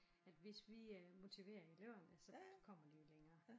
At hvis vi øh motiverer eleverne så kommer de jo længere